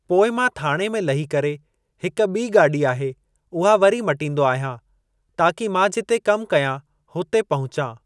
पोइ मां थाणे में लही करे हिक ॿी गाॾी आहे उहा वरी मटींदो आहियां ताकि मां जिते कमु कयां हुते पहुचां।